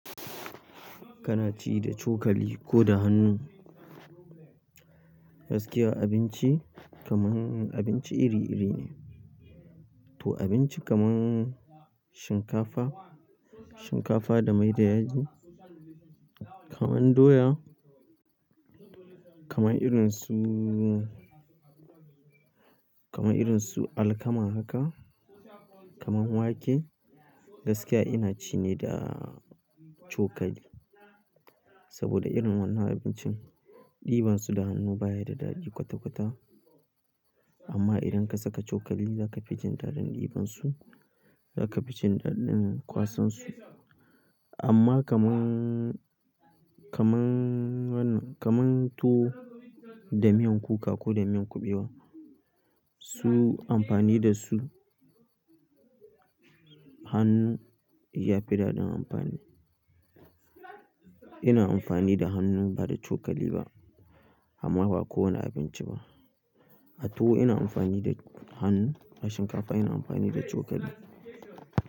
Kana ci da cokali ko da hannu? Gaskiya abinci kamar abinci iri-iri ne. To abinci kaman shinkafa, shinkafa da mai da yaji, kamar doya, kamar irin su kamar irin su alkama haka, kaman wake gaskiya ina ci ne da cokali. Saboda irin wannan abincin ɗiban su da hannu baya da daɗi kwata-kwata. Amma idan ka saka cokali za ka fi jin daɗin ɗiban su, za ka fi jin daɗin kwasan su. Amma kaman, kaman wannan, kaman tuwo da miyan kuka ko da miyan kuɓewa su amfani da su hannu ya fi daɗin amfani. Ina amfani da hannu ba da cokali ba, amma ba kowane abinci ba. A tuwo ina amfani da hannu a shinkafa ina amfani da cokali.